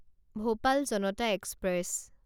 Bhopal Janata express